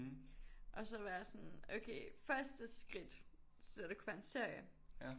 Og så være sådan okay første skridt så er det kunne være en serie